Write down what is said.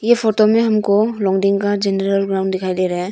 यह फोटो में हमको ग्राउंड दिखाई दे रहा है।